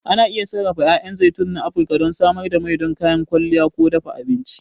Ana iya sarrafa 'ya'yan zaitun na Afirka don samar da mai don kayan kwalliya ko dafa abinci.